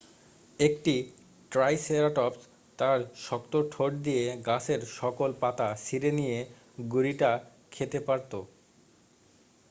একটি ট্রাইসেরাটপস তার শক্ত ঠোঁট দিয়ে গাছের সকল পাতা ছিঁড়ে নিয়ে গুড়িটা খেতে পারত